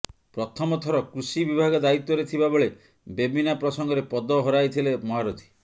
ପ୍ରଥମ ଥର କୃଷି ବିଭାଗ ଦାୟିତ୍ବରେ ଥିବା ବେଳେ ବେବିନା ପ୍ରସଙ୍ଗରେ ପଦ ହରାଇଥିଲେ ମହାରଥୀ